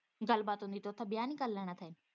ਗੱਲਬਾਤ ਹੁੰਦੀ ਤੇ ਉੱਥੇ ਵਿਆਹ ਨੀ ਕਰ ਲੈਣਾ ਸੀ।